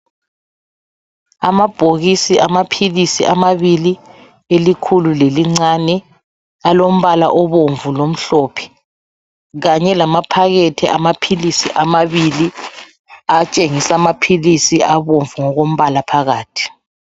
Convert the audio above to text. Amabhokisi amaphilisi amabili, elikhulu lelincane alombala obomvu lomhlophe kanye lamaphakethe amaphilisi amabili atshengisa amaphilisi abomvu ngokombala phakathi.